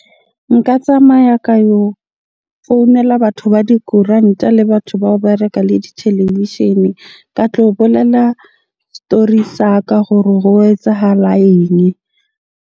Nka tsamaya ka yo founela batho ba dikoranta le batho bao ba reka le ditelevishene. Ka tlo bolela story sa ka hore ho etsahala .